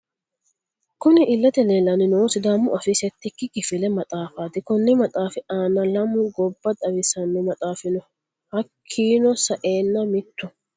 Kunni illete leelani noohu sidàamu afii settiki kifile maxaafati konni maxaafi aana lamu gobba xawisano maxaafi no hakiino sa'eena mittu...